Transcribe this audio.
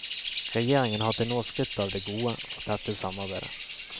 Regjeringen har til nå skrytt av det gode og tette samarbeidet.